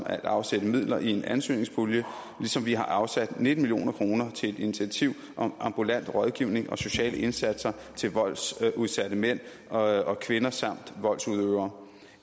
at afsætte midler i en ansøgningspulje ligesom vi har afsat nitten million kroner til et initiativ om ambulant rådgivning og sociale indsatser til voldsudsatte mænd og kvinder samt voldsudøvere